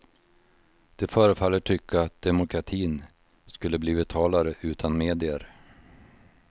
De förefaller tycka att demokratin skulle bli vitalare utan medier.